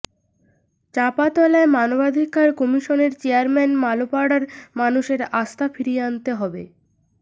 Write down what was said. চাঁপাতলায় মানবাধিকার কমিশনের চেয়ারম্যান মালোপাড়ার মানুষের আস্থা ফিরিয়ে আনতে হবে